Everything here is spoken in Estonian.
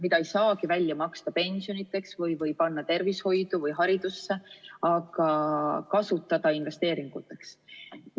Seda ei saagi välja maksta pensionideks või panna tervishoidu või haridusse, ja seda tuleb kasutada investeeringuteks.